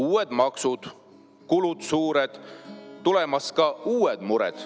" Uued maksud, kulud suured, tulemas ka uued mured.